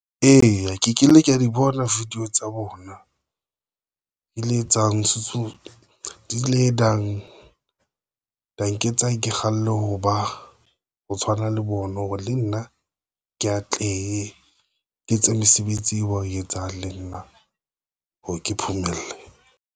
Eya, ke kile ka di bona video tsa bona ke le etsa ntshetso di le nang danke tsa, ke kgalle ho ba ho tshwana le bona, hore le nna ke tle ke etse mesebetsi eo ba etsang le nna hore ke phomelle.